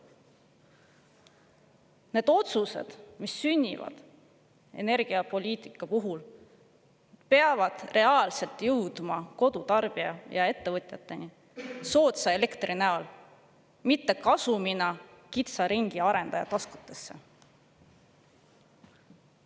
Nende otsuste mõju, mis sünnivad energiapoliitikas, peab reaalselt jõudma kodutarbija ja ettevõtjateni soodsa elektri näol, mitte kasumina kitsa ringi arendajate taskutesse.